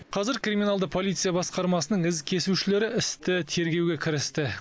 қазір криминалды полиция басқармасының із кесушілері істі тергеуге кірісті